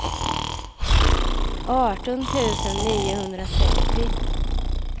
arton tusen niohundratrettio